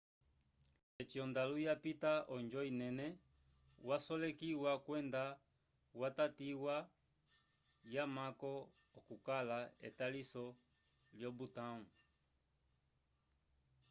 eci ondalu yapita onjo inene yasolekiwa kwenda yatatiwa yamako okukala etaliso lyo-butão